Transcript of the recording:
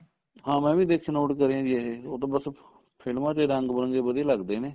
ਹਾਂ ਮੈਂ ਵੀ ਦੇਖਿਆ note ਕਰਿਆ ਜੀ ਇਹ ਉਹ ਤਾਂ ਬੱਸ ਫ਼ਿਲਮਾ ਚ ਈ ਰੰਗ ਬਿਰੰਗੇ ਵਧੀਆ ਲੱਗਦੇ ਨੇ